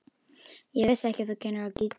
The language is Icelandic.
Ég vissi ekki að þú kynnir á gítar.